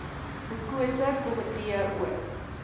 gekose komitee oor